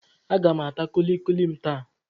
Aga m ata kulikuli m taa.